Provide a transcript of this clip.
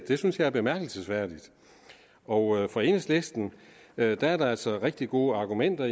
det synes jeg er bemærkelsesværdigt og for enhedslisten er der der altså rigtig gode argumenter